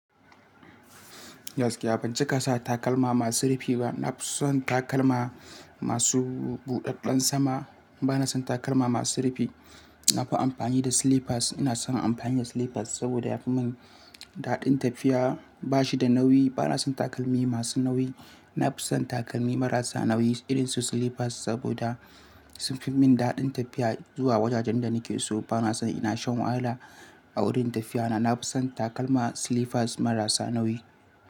Gaskiya ban cika sa takalma masu rufi ba? Na fi son takalma masu buɗaɗɗen sama. Bana son takalma masu rufi. Na fi amfani da slippers. Ina son amfani da slippers saboda yafi mun daɗin tafiya. Ba shi da nauyi. Bana son takalmi masu nauyi. Na fi son takalmi marasa nauyi irin su slippers saboda sun fi mun daɗin tafiya zuwa wajajen da nake so. Bana son ina shan wayala a wurin tafiya na. Na fi son takalma slippers marasa nauyi.